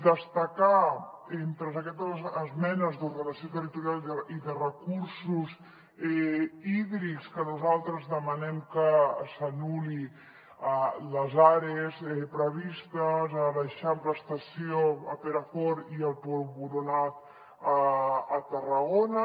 destacar entre aquestes esmenes d’ordenació territorial i de recursos hídrics que nosaltres demanem que s’anul·lin les ares previstes a l’eixample estació a perafort i a pou boronat a tarragona